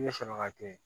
Ne bɛ sɔrɔ ka to yen